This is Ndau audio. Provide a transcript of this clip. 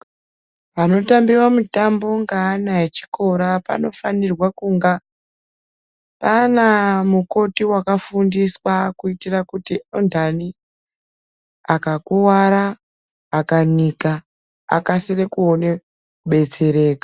Panotambiwa mutambo ngeana echikora panofanirwa kunga Pana mukoti wakafundiswa kuitira kuti undani akakwara akanika akasire kuona kubetseraka.